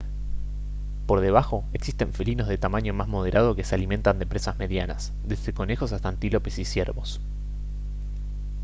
por debajo existen felinos de tamaño más moderado que se alimentan de presas medianas desde conejos hasta antílopes y ciervos